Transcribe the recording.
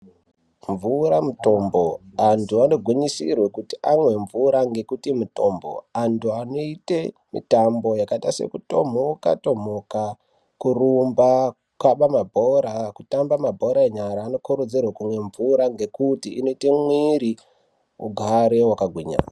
Mvura mutombo, vantu vagunyisirwe kuti vamwe mvura ngekuti mutombo. Vantu vanoite mitambo yakaite sekutomhoka tomhoka, kurumba kukaba mabhora, kutamba mabhora enyara vanokurudzirwa kumwa mvura nekuti inoite mwere ugare wakagwinya.